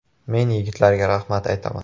Men yigitlarga rahmat aytaman.